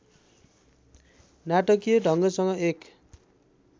नाटकीय ढङगसँग एक